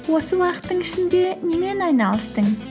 осы уақыттың ішінде немен айналыстың